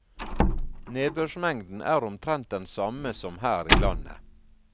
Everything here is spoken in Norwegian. Nedbørsmengden er omtrent den samme som her i landet.